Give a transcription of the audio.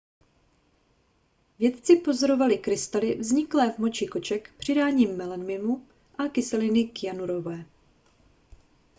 vědci pozorovali krystaly vzniklé v moči koček přidáním melaminu a kyseliny kyanurové